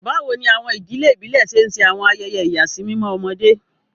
Báwo ni àwọn ìdílé ìbílẹ̀ ṣe ń ṣe àwọn ayẹyẹ ìyàsímímọ́ ọmọdé?